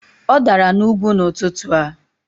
Ọ dara n'ugwu n'ụtụtụ a